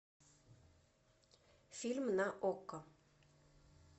фильм на окко